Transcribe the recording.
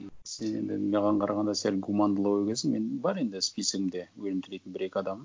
і сен енді маған қарағанда сәл гумандылау екенсің мен бар енді списогімде өлім тілейтін бір екі адамым